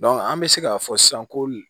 an bɛ se k'a fɔ sisan ko